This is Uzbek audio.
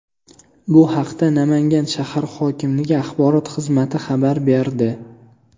Bu haqda Namangan shahar hokimligi axborot xizmati xabar berdi .